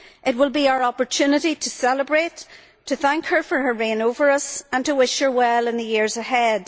It will be our opportunity to celebrate, to thank her for her reign over us and to wish her well in the years ahead.